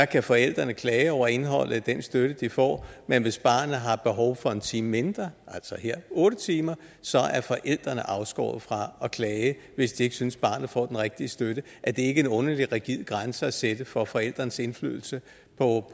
kan forældrene klage over indholdet af den støtte de får men hvis barnet har behov for en time mindre altså her otte timer så er forældrene afskåret fra at klage hvis de ikke synes at barnet får den rigtige støtte er det ikke en underlig rigid grænse at sætte for forældrenes indflydelse på